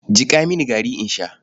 Jiƙa mini gari in sha.